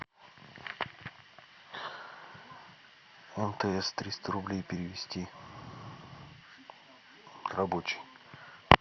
мтс триста рублей перевести рабочий